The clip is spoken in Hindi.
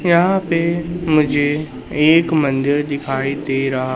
यहां पे मुझे एक मंदिर दिखाई दे रहा--